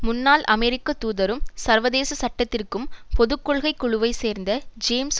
முன்னாள் அமெரிக்க தூதரும் சர்வதேச சட்டத்திற்கும் பொதுகொள்கை குழுவை சேர்ந்த ஜேம்ஸ்